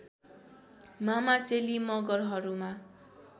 मामा चेली मगरहरूमा